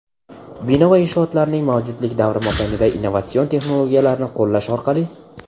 Bino va inshootlarning mavjudlik davri mobaynida innovatsion texnologiyalarni qo‘llash orqali:.